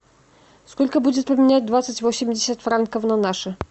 сколько будет поменять двадцать восемьдесят франков на наши